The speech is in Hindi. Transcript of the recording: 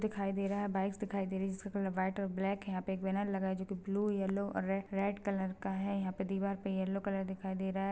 दिखाई दे रहा है बाइक्स दिखाई दे रही हैजिसका कलर वाइट ब्लैक है यहाँ पे एक बैनर लगा है जो के ब्लू येलो और रेड रेड कलर का है यहाँ पे दीवाल पे येलो कलर दिखाई दे रहा हैं।